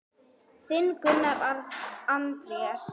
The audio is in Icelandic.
Þinn, Gunnar Andrés.